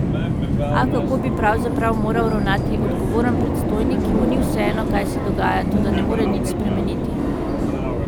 A kako bi pravzaprav moral ravnati odgovoren predstojnik, ki mu ni vseeno, kaj se dogaja, toda ne more nič spremeniti?